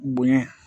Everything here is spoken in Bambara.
Bonɲɛ